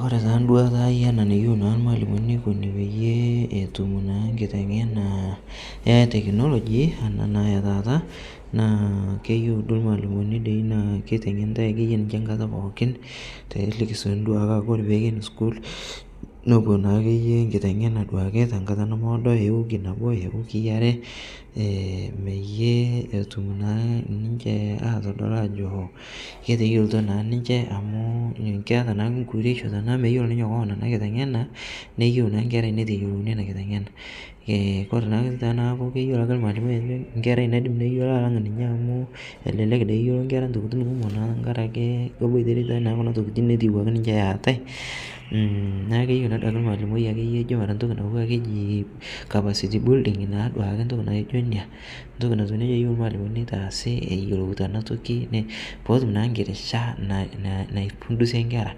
kore taa nduata aai enaa neyeu naa lmaalimoni neikuni peyie etum naa nkitengena ee teknologi enaa naa etaata naa keyeu duo lmaalimoni dei naa keitengenitai akeye ninshe nkata pookin telikisoni dauke aakore peiken sukuul nopuo naakeye nkitengenaa duake tankata nemeodoo ewiki nabo ewikii aree peyie etum naa ninshe atodol ajoo keteyolto naa ninshe amu keata naa nkuuresho tanaaku meyolo ninye ana kitenganaa neyeu naa nkerai neitelouni ana kitengenaa kore naa otoki tanaaku keyelo lmaalimoi amu nkerai nayolo alang ninyee amu elelek dei eyolo nkera ntokitin kumoo naa tankarake koboitere kuna tokitin netiiwaki ninshe eatai naaku keyeu naa duake lmaalimoi akeye ijo mara ntoki natuwaa keji capacity building naaduake ntoki naijo inia ntoki natuu neja eyeu lmaalimoni neitaasi eyelouta ana toki pooum naa nkirisha naipundishie nkera